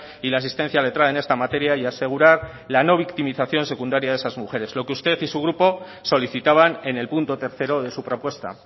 y la asistencia letrada en esta materia y asegurar la no victimización secundaria de esas mujeres lo que usted y su grupo solicitaban en el punto tercero de su propuesta